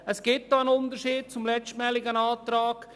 Es gibt einen Unterschied zum letzten Antrag.